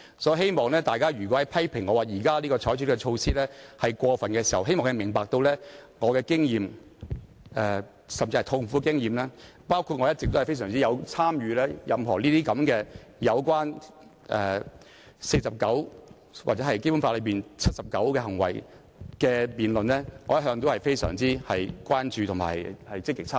因此，當大家批評我現時採取的措施是過分時，我希望他們明白我痛苦的經驗，以及我一直對《議事規則》第49條或《基本法》第七十九條所處理的行為的辯論均非常關注並積極參與。